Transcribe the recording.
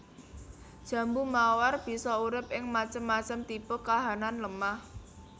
Jambu mawar bisa urip ing macem macem tipe kahanan lemah